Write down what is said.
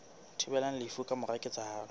thibelang lefu ka mora ketsahalo